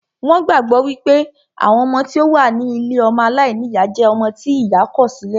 Wón gbàgbọ́ wípé àwọn ọmọ tí ó wà ní ilée ọmọ aláìníyá jẹ́ ọmọ tí ìyá kọ̀ sí lẹ̀